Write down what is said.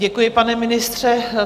Děkuji, pane ministře.